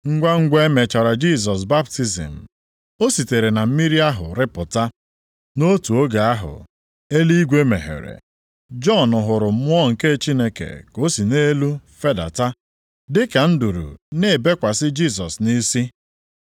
Ngwangwa e mechara Jisọs baptizim, o sitere na mmiri ahụ rịpụta. Nʼotu oge ahụ, eluigwe meghere, Jọn hụrụ Mmụọ nke Chineke ka o si nʼelu fedata dị ka nduru na-ebekwasị Jisọs nʼisi.